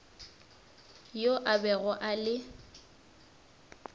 yo a bego a le